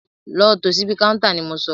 Lọ tò síbi káúntá ni mo sọ!